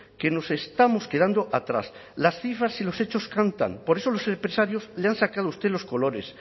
que nos estamos quedando atrás las cifras y los hechos cantan por eso los empresarios le han sacado a usted los colores